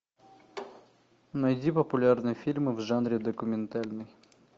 найди популярные фильмы в жанре документальный